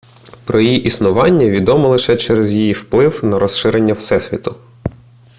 про її існування відомо лише через її вплив на розширення всесвіту